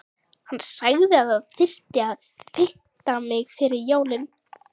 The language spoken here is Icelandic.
Hann sagði að það þyrfti að fita mig fyrir jólin.